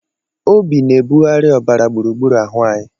Obi na-abugharị ọbara gburugburu ahụ anyị